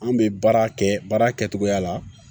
An bɛ baara kɛ baara kɛcogoya la